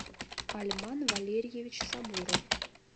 альман валерьевич сабуров